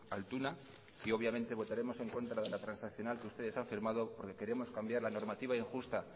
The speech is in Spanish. altuna y obviamente votaremos en contra de la transaccional que ustedes han firmado porque queremos cambiar la normativa injusta